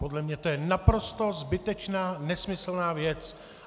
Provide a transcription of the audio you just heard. Podle mě to je naprosto zbytečná nesmyslná věc.